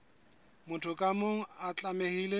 motho ka mong o tlamehile